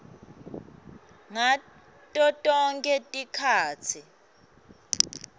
ngato tonkhe tikhatsi